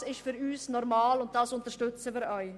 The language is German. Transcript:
Das ist für uns normal, und das unterstützen wir auch.